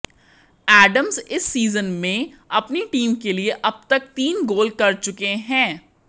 Adams इस season में अपनी टीम के लिए अब तक तीन गोल कर चुके हैं